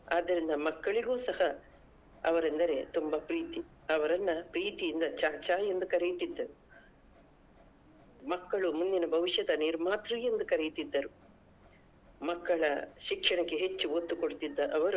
ಆದ್ದರಿಂದ ಮಕ್ಕಳಿಗೂ ಸಹ ಅವರೆಂದರೆ ತುಂಬ ಪ್ರೀತಿ ಅವರನ್ನಾ ಪ್ರೀತಿಯಿಂದ ಚಾಚಾ ಎಂದು ಕರೆಯುತಿದ್ದರು ಮಕ್ಕಳು ಮುಂದಿನ ಭವಿಷ್ಯದ ನಿರ್ಮಾತೃ ಎಂದು ಕರೆಯುತ್ತಿದ್ದರು ಮಕ್ಕಳ ಶಿಕ್ಷಣಕ್ಕೆ ಹೆಚ್ಚು ಒತ್ತು ಕೊಡುತ್ತಿದ್ದ ಅವರು.